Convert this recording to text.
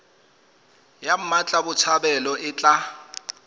ya mmatla botshabelo e tla